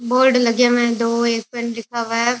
Board लगे हुए हैं दो एक पर लिखा हुआ है।